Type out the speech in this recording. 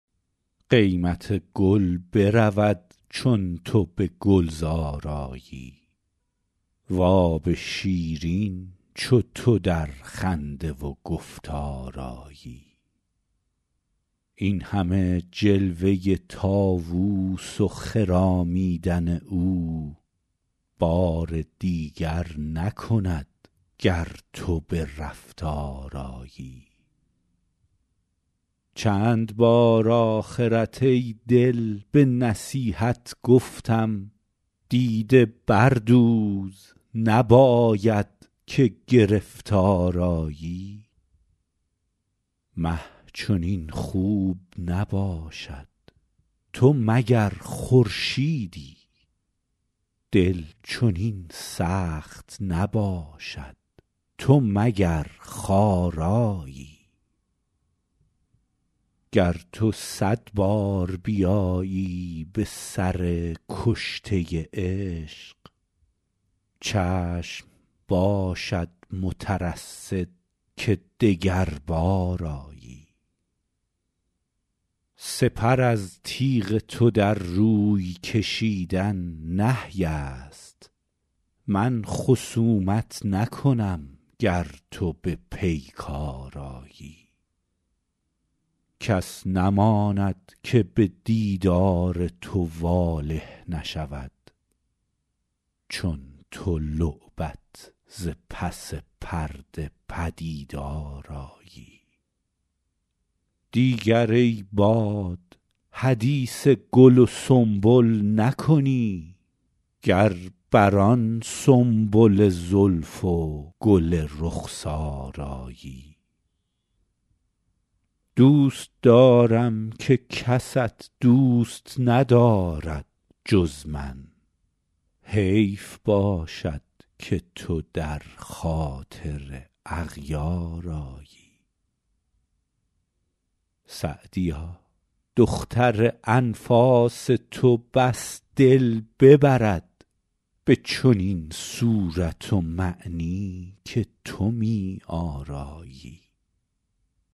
قیمت گل برود چون تو به گلزار آیی و آب شیرین چو تو در خنده و گفتار آیی این همه جلوه طاووس و خرامیدن او بار دیگر نکند گر تو به رفتار آیی چند بار آخرت ای دل به نصیحت گفتم دیده بردوز نباید که گرفتار آیی مه چنین خوب نباشد تو مگر خورشیدی دل چنین سخت نباشد تو مگر خارایی گر تو صد بار بیایی به سر کشته عشق چشم باشد مترصد که دگربار آیی سپر از تیغ تو در روی کشیدن نهی است من خصومت نکنم گر تو به پیکار آیی کس نماند که به دیدار تو واله نشود چون تو لعبت ز پس پرده پدیدار آیی دیگر ای باد حدیث گل و سنبل نکنی گر بر آن سنبل زلف و گل رخسار آیی دوست دارم که کست دوست ندارد جز من حیف باشد که تو در خاطر اغیار آیی سعدیا دختر انفاس تو بس دل ببرد به چنین صورت و معنی که تو می آرایی